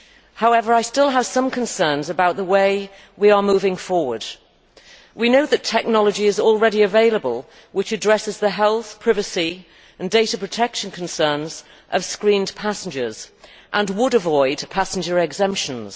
However, I still have some concerns about the way we are moving forward. We know that technology is already available which addresses the health, privacy and data protection concerns of screened passengers and would avoid passenger exemptions.